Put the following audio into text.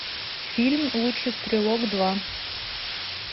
фильм лучший стрелок два